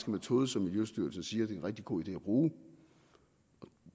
metode som miljøstyrelsen siger det er en rigtig god idé at bruge